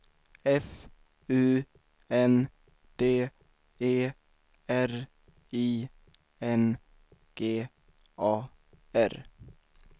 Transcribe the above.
F U N D E R I N G A R